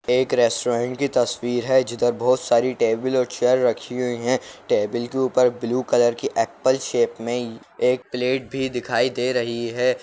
एक रेस्टोरेंट की तस्वीर है जिधर बहोत सारी टेबल और चेयर रखी हुई हैं टेबल के ऊपर ब्लू कलर की एप्पल शेप में एक प्लेट भी दिखाई दे रही है।